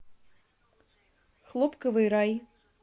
хлопковый рай